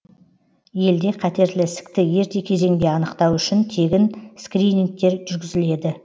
елде қатерлі ісікті ерте кезеңде анықтау үшін тегін скринингтер жүргізіледі